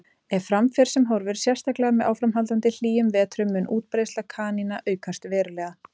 Ef fram fer sem horfir, sérstaklega með áframhaldandi hlýjum vetrum, mun útbreiðsla kanína aukast verulega.